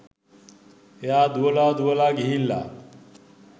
එයා දුවලා දුවලා ගිහිල්ලා